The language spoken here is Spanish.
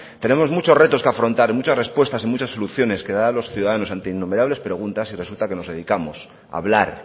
tenemos muchos retos que afrontar muchas respuestas y muchas soluciones que dar a los ciudadanos ante innumerables preguntas y resulta que nos dedicamos a hablar